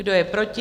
Kdo je proti?